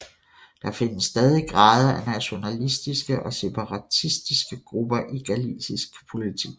Der findes stadig grader af nationalistiske og separatistiske grupper i galicisk politik